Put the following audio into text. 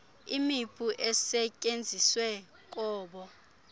imipu esetyenziswe kobo